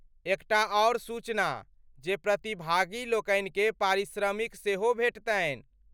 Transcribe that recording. एकटा आओर सूचना जे प्रतिभागी लोकनिकेँ पारिश्रमिक सेहो भेटतनि।